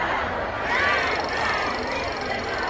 Ləbbeyk, Ya Hüseyn! Ləbbeyk, Ya Hüseyn!